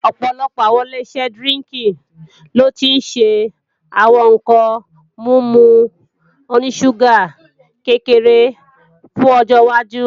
Ọ̀pọ̀lọpọ̀ àwọn Ileṣẹ́ dírínkì lo ti ń ṣe àwọn ǹkan mímu oní ṣúgà kékeré fún ọjọwájú